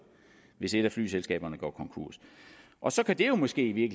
hvis et af flyselskaberne går konkurs og så kan det jo måske i